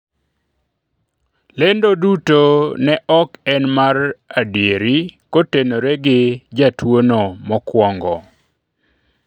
lendo duto ne ok en mar edieri kotenore gi jatuono mokwongo